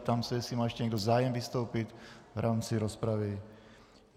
Ptám se, jestli má ještě někdo zájem vystoupit v rámci rozpravy.